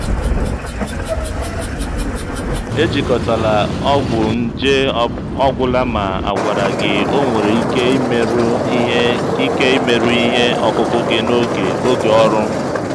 ejikọtala ọgwụ nje ọ gwụla ma a gwara gị ọ nwere ike imerụ ihe ike imerụ ihe ọkụkụ gị n'oge oge ọrụ.